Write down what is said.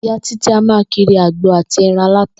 Ìyá Títí a máa kiri àgbo àti e̩ran aláta